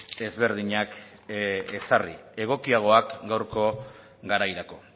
ezberdinak ezarri egokiagoak gaurko garairako